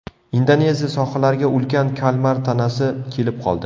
Indoneziya sohillariga ulkan kalmar tanasi kelib qoldi.